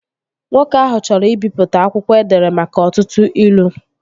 Nwoke ahụ chọrọ ibipụta akwụkwọ edere maka ọtụtụ ilu